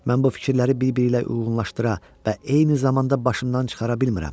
Mən bu fikirləri bir-biri ilə uyğunlaşdıra və eyni zamanda başımdan çıxara bilmirəm.